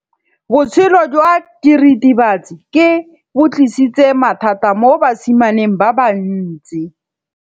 Botshelo jwa diritibatsi ke bo tlisitse mathata mo basimaneng ba bantsi.